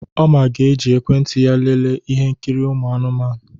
Oma ga-eji ekwentị ya lelee ihe nkiri anụmanụ.